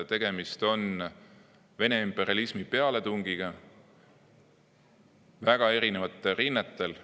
Tegemist on Vene imperialismi pealetungiga väga erinevatel rinnetel.